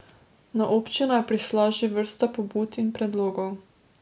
Na občino je prišla že vrsta pobud in predlogov.